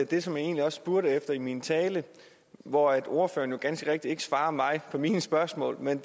det som jeg spurgte efter i min tale hvor ordføreren jo ganske rigtigt ikke svarede mig på mine spørgsmål men